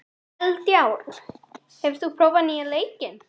Eldjárn, hefur þú prófað nýja leikinn?